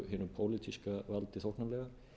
voru hinu pólitíska valdi þóknanlegar